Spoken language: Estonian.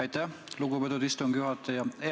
Aitäh, lugupeetud istungi juhataja!